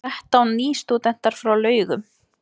Þrettán nýstúdentar frá Laugum